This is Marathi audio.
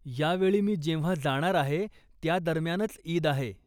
या वेळी मी जेव्हा जाणार आहे, त्यादरम्यानच ईद आहे.